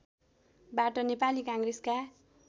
बाट नेपाली काङ्ग्रेसका